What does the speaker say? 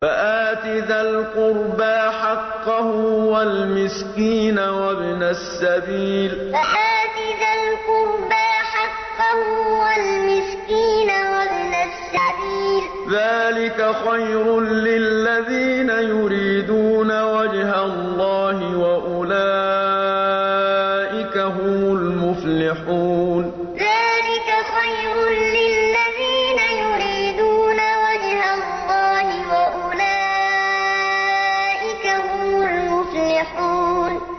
فَآتِ ذَا الْقُرْبَىٰ حَقَّهُ وَالْمِسْكِينَ وَابْنَ السَّبِيلِ ۚ ذَٰلِكَ خَيْرٌ لِّلَّذِينَ يُرِيدُونَ وَجْهَ اللَّهِ ۖ وَأُولَٰئِكَ هُمُ الْمُفْلِحُونَ فَآتِ ذَا الْقُرْبَىٰ حَقَّهُ وَالْمِسْكِينَ وَابْنَ السَّبِيلِ ۚ ذَٰلِكَ خَيْرٌ لِّلَّذِينَ يُرِيدُونَ وَجْهَ اللَّهِ ۖ وَأُولَٰئِكَ هُمُ الْمُفْلِحُونَ